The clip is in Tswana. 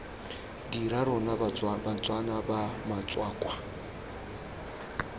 dira rona batswana fa batswakwa